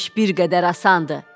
Onda iş bir qədər asandır.